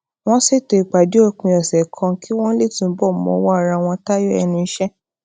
wón ṣètò ipàdé òpin òsè kan kí wón lè túbò mọwó ara wọn tayọ ẹnu iṣẹ